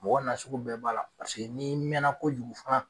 Mɔgɔ bɛɛ b'a la n'i mɛnna kojugu fana.